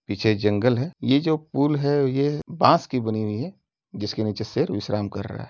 पीछे जंगल है। ये जो पुल है यह बांस की बनी हुई है। जिसके नीचे शेर विश्राम कर रहा है।